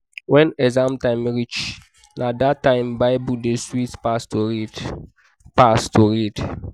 when exam time reach na that time bible dey sweet pass to read. pass to read.